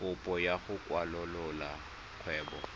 kopo ya go kwalolola kgwebo